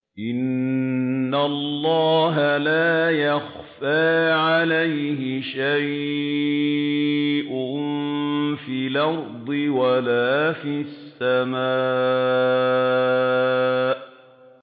إِنَّ اللَّهَ لَا يَخْفَىٰ عَلَيْهِ شَيْءٌ فِي الْأَرْضِ وَلَا فِي السَّمَاءِ